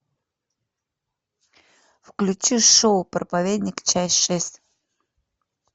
включи шоу проповедник часть шесть